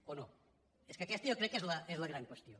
o no és que aquesta jo crec que és la gran qüestió